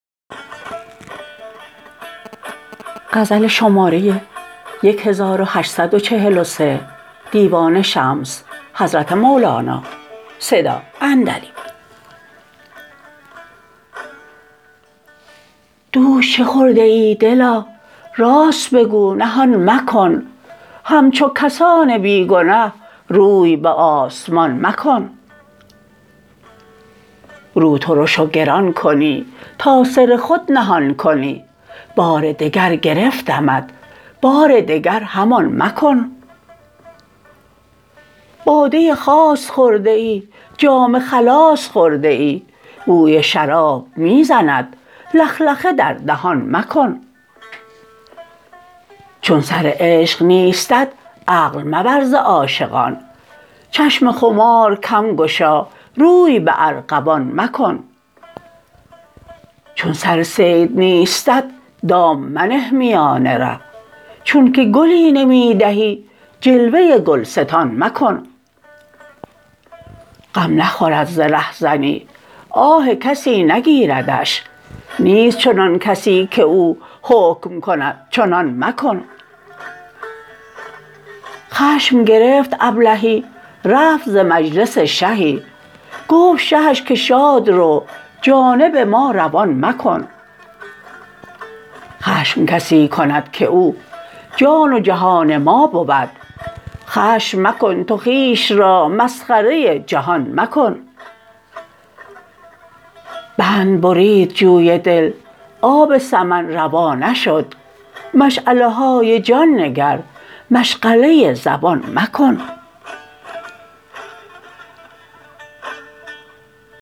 دوش چه خورده ای دلا راست بگو نهان مکن همچو کسان بی گنه روی به آسمان مکن رو ترش و گران کنی تا سر خود نهان کنی بار دگر گرفتمت بار دگر همان مکن باده خاص خورده ای جام خلاص خورده ای بوی شراب می زند لخلخه در دهان مکن چون سر عشق نیستت عقل مبر ز عاشقان چشم خمار کم گشا روی به ارغوان مکن چون سر صید نیستت دام منه میان ره چونک گلی نمی دهی جلوه گلستان مکن غم نخورد ز رهزنی آه کسی نگیردش نیست چنان کسی کی او حکم کند چنان مکن خشم گرفت ابلهی رفت ز مجلس شهی گفت شهش که شاد رو جانب ما روان مکن خشم کسی کند کی او جان و جهان ما بود خشم مکن تو خویش را مسخره جهان مکن بند برید جوی دل آب سمن روا نشد مشعله های جان نگر مشغله زبان مکن